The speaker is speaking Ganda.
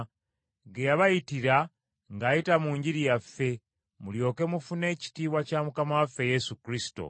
ge yabayitira ng’ayita mu Njiri yaffe mulyoke mufune ekitiibwa kya Mukama waffe Yesu Kristo.